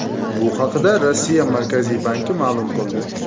Bu haqda Rossiya Markaziy banki ma’lum qildi .